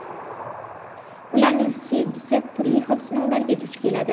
Ularning sevgisi turli xil sinovlarga duch keladi.